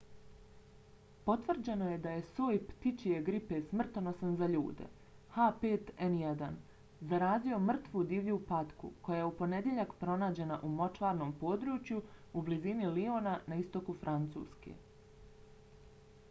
potvrđeno je da je soj ptičje gripe smrtonosan za ljude h5n1 zarazio mrtvu divlju patku koja je u ponedjeljak pronađena u močvarnom području u blizini liona na istoku francuske